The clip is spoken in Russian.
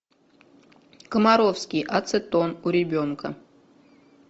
комаровский ацетон у ребенка